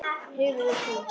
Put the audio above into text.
Hefur þú.?